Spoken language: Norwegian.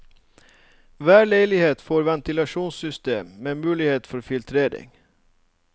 Hver leilighet får ventilasjonssystem, med muligheter for filtrering.